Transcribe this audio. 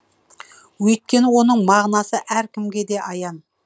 өйткені оның мағынасы әркімге де аян